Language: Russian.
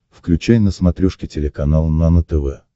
включай на смотрешке телеканал нано тв